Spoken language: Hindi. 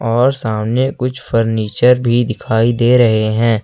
और सामने कुछ फर्नीचर भी दिखाई दे रहे हैं।